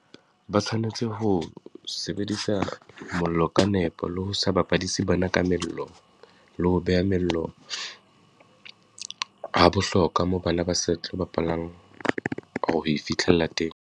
Ba tshwanetse ho sebedisa mollo ka nepo, le ho sa bapadise bana ka mello, le ho beha mello ha bohlokwa moo bana ba sa tlo bapalang ho e fitlhella teng.